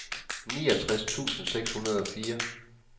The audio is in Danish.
niogtres tusind seks hundrede og fire